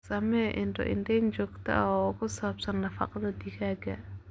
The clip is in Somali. Samee indho-indheyn joogto ah oo ku saabsan nafaqada digaagga.